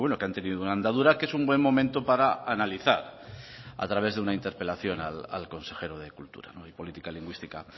que han tenido una andadura que es un buen momento para analizar a través de una interpelación al consejero de cultura y política lingüística